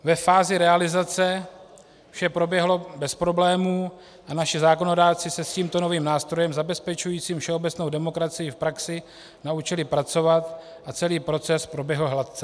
Ve fázi realizace vše proběhlo bez problémů a naši zákonodárci se s tímto novým nástrojem zabezpečujícím všeobecnou demokracii v praxi naučili pracovat a celý proces proběhl hladce.